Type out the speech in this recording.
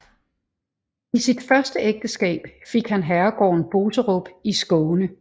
I sit første ægteskab fik han herregården Boserup i Skåne